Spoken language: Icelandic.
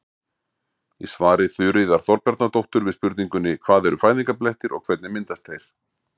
Í svari Þuríðar Þorbjarnardóttur við spurningunni Hvað eru fæðingarblettir og hvernig myndast þeir?